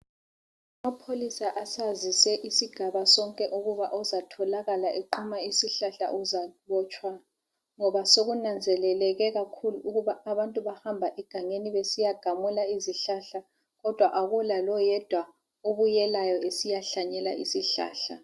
Amapholisa asazise isigaba sonke ukuba ozatholakala equma isihlahla uzabotshwa ngoba sekunanzeleleke kakhulu ukuba abantu bahamba egangeni besiyagamula izihlahla kodwa akula loyedwa obuyelayo esiyahlanyela isihlahla.